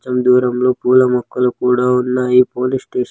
కొంచం దూరంలో పూల మొక్కలు కూడా ఉన్నాయి పోలీస్ స్టేషన్ .